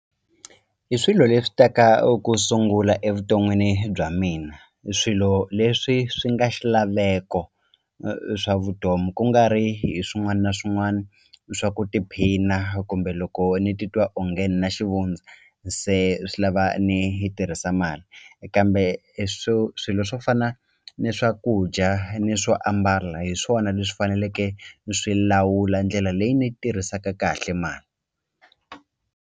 I swilo leswi ta ka u ku sungula evuton'wini bya mina i swilo leswi swi nga xilaveko swa vutomi ku nga ri hi swin'wani na swin'wani swa ku tiphina kumbe loko ni titwa onge ni na xivundza se swi lava ni yi tirhisa mali kambe swo swilo swo fana ni swakudya ni swo ambala hi swona leswi faneleke ni swi lawula ndlela leyi ni yi tirhisaka kahle .